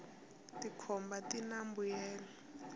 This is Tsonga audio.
tikhomba tina mbuyelo